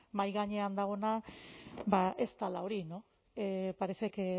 mahai gainean dagoena ba ez dela hori no parece que